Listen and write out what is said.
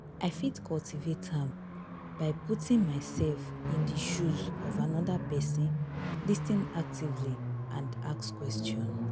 i fit cultivate am by putting myself in di shoes of anoda pesin lis ten actively and ask question.